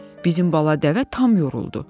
Bizim bala dəvə tam yoruldu.